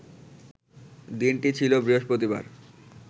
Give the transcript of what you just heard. দিনটি ছিল বৃহস্পতিবার